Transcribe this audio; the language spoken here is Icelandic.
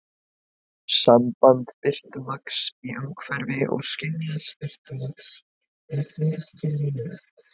Samband birtumagns í umhverfi og skynjaðs birtumagns er því ekki línulegt.